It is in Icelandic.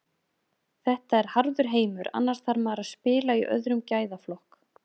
Þetta er harður heimur, annars þarf maður að spila í öðrum gæðaflokk.